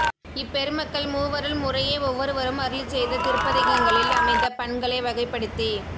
இப்பெருமக்கள் மூவரூள் முறையே ஒவ்வொருவரும் அருளிச் செய்தத் திருப்பதிகங்களில் அமைந்த பண்களை வகைப்படுத்தி